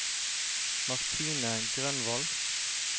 Martine Grønvold